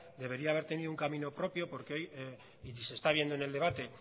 debería haber tenido un camino propio porque hoy y se está viendo en el debate